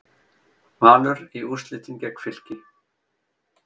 Valur í úrslitin gegn Fylki